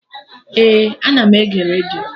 Ee, ana m ege redio